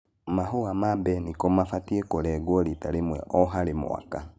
Mahũa ma mbeniko mabatie kũrengwo rita rĩmwe o harĩ mwaka.